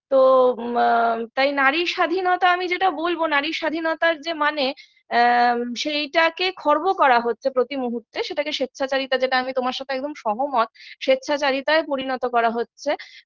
তো আ তাই নারী স্বাধীনতা আমি যেটা বলবো নারীর স্বাধীনতার যে মানে আ সেইটাকে খর্ব করা হচ্ছে প্রতিমুহূর্তে স্বেচ্ছাচারিতার যেটা আমি তোমার সাথে একদম সহমত স্বেচ্ছাচারিতায় পরিণত করা হচ্ছে